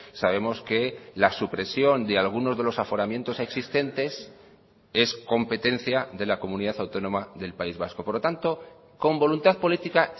sabemos que la supresión de algunos de los aforamientos existentes es competencia de la comunidad autónoma del país vasco por lo tanto con voluntad política